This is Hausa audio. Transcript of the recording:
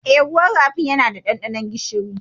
Eh, ruwan rafin yana da ɗanɗanon gishiri.